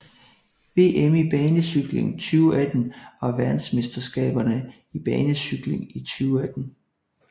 VM i banecykling 2018 var verdensmesterskaberne i banecykling i 2018